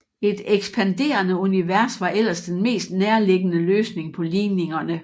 Et ekspanderende univers var ellers den mest nærligggende løsning på ligningerne